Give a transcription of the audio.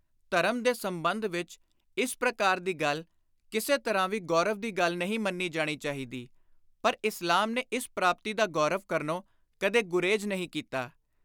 ਧਰਮ ਦੇ ਸੰਬੰਧ ਵਿਚ ਇਸ ਪ੍ਰਕਾਰ ਦੀ ਗੱਲ ਕਿਸੇ ਤਰ੍ਹਾਂ ਵੀ ਗੌਰਵ ਦੀ ਗੱਲ ਨਹੀਂ ਮੰਨੀ ਜਾਣੀ ਚਾਹੀਦੀ ਪਰ ਇਸਲਾਮ ਨੇ ਇਸ ਪ੍ਰਾਪਤੀ ਦਾ ਗੌਰਵ ਕਰਨੋਂ ਕਦੇ ਗੁਰੇਜ਼ ਨਹੀਂ ਕੀਤਾ।